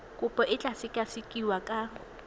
kopo e tla sekasekiwa ka